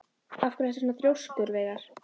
Af hverju ertu svona þrjóskur, Veigar?